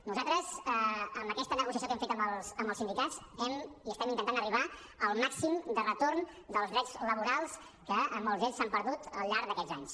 nosaltres amb aquesta negociació que hem fet amb els sindicats estem intentant arribar al màxim de retorn dels drets laborals que molts d’ells s’han perdut al llarg d’aquests anys